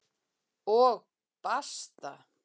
Og basta!